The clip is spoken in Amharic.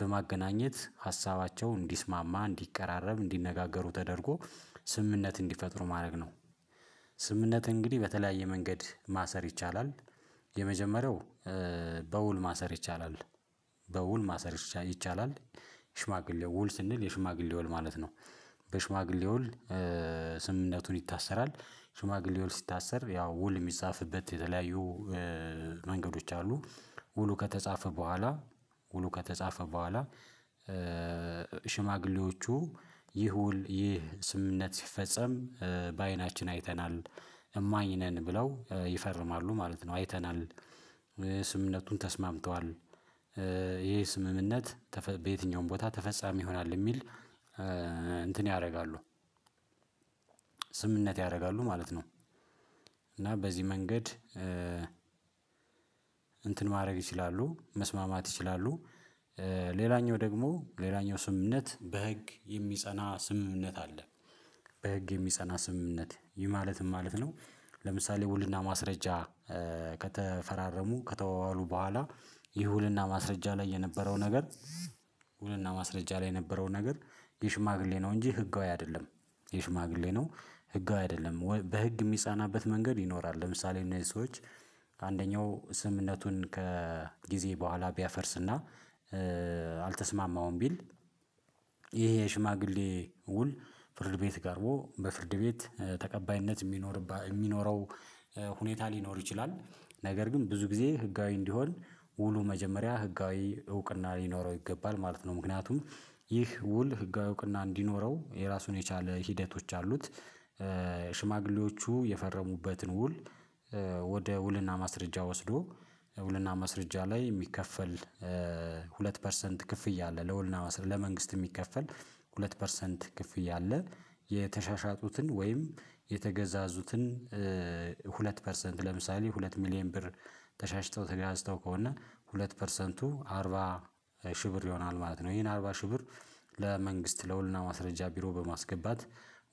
በማገናኝት ሀሳባቸው እንዲስማማ እንዲቀራረብ እንዲነጋገሩ ተደርጎ ስምምነት እንዲፈጥሩ ማረግ ነው። ስምምነት እንግዲህ በተለያየ መንገድ ማሰር ይቻላል። የመጀመሪያው በውል ማሰር ይቻላል። በውል ማሰር ይቻላል። ሽማግሌ ውል ስንል የሽማግሌ ውል ማለት ነው። ከሽማግሌ ውል ስምምነቱን ይታሰራል። ሽማግሌ ውል ሲታሰር ያው ውል የሚፃፍበት የተለያዩ መንገዶች አሉ። ውሉ ከተፃፈ በኋላ ውሉ ከተፃፈ በኋላ። ሽማግሌዎቹ ይህ ውል ይህ ስምምነት ሲፈጸም በአይናችን አይተናል እማኝ ነን ብለው ይፈርማሉ ማለት ነው። አይተናል ስምምነቱን ተስማምተዋል። ይህ ስምምነት በየትኛውም ቦታ ተፈጻሚ ይሆናል ሚል እንትን ያርጋሉ ስምምነት ያርጋሉ ማለት ነው። እና በዚህ መንገድ ማረግ ይችላሉ መስማማት ይችላሉ። ሌላኛው ደግሞ ሌላኛው ስምምነት በህግ የሚጸና ስምምነት አለ። በህግ የሚጸና ስምምነት ይህ ማለት ምንማለት ነው? ለምሳሌ ውልና ማስረጃ ከተፈራረሙ ከተወዋሉ በኋላ ይህ ውልና ማስረጃ ላይ የነበረው ነገር ውልና ማስረጃ ላይ የነበረው ነገር የሽማግሌ ነው እንጂ ህጋዊ አይደለም። የሽማግሌ ነው ህጋዊ አይደለም በህግ የሚጻናበት መንገድ ይኖራል። ለምሳሌ እነዚህ ሰዎች ከአንደኛው ስምምነቱን ከጊዜ በኋላ ቢያፈርስና አልተስማማውም ቢል ይህ የሽማግሌ ውል ፍርድ ቤት ቀርቦ በፍርድ ቤት ተቀባይነት ሚኖረው ሁኔታ ሊኖር ይችላል። ነገር ግን ብዙ ጊዜ ህጋዊ እንዲሆን ውሉ መጀመሪያ ህጋዊ እውቅና ሊኖረው ይገባል ማለት ነው። ምክንያቱም ይህ ውል ህጋዊ እውቅና እንዲኖረው የራሱን የቻለ ሂደቶች አሉት። ሽማግሌዎቹ የፈረሙበትን ውል ወደ ውልና ማስረጃ ወስዶ ውልና ማስረጃ ላይ ሚከፈል ሁለት ፐርሰንት ክፍያ አለ ለወልና ለመንግስት የሚከፈል ሁለት ፐርሰንት ክፍያ አለ። የተሸሻጡትን ወይም የተገዛዙትን ሁለት ፐርሰንት ለምሳሌ ሁለት ሚሊየን ብር ተሻሽጦው ተገዛዝተው ከሆነ ሁለት ፐርሰንቱ አርባ ሺ ብር ይሆናል ማለት ነው። ይህን አርባ ሺ ብር ለመንግስት ለውልና ማስረጃ ቢሮ በማስገባት